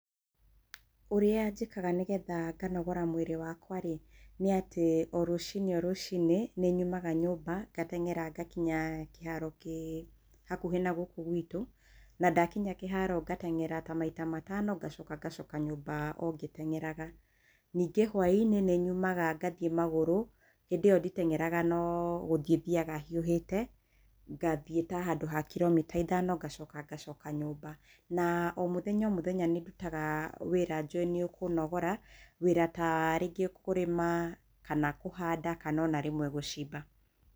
Ũrĩa njĩkaga nĩgetha nganogora mwĩrĩ wakwa rĩ, nĩ atĩ o rũcinĩ o rũcinĩ nĩ nyumaga nyũmba ngatengera ngakinya kĩharo kĩ hakuhĩ na gũkũ gwitũ na ndakinya kĩharo ngatengera ta maita matano ngacoka ngacoka nyũmba o ngĩtengeraga. Ningĩ hwainĩ nĩ nyumaga ngathiĩ magũrũ hindĩ ĩyo nditengeraga no gũthiĩ thiaga hiuhĩte ngathiĩ ta handũ ha kiromita ithano ngacoka ngacoka nyũmba na o mũthenya o mũthenya nĩ ndutaga wĩra njũĩ nĩ ũkũnogora wĩra ta rĩngĩ kũrĩma kana kũhanda kana ona rĩmwe gũcimba.